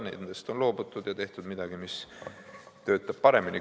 Nendest on loobutud ja tehtud midagi, mis töötab paremini.